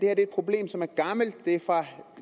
er et problem som er gammelt det